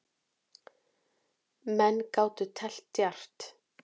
Menn gátu teflt djarft.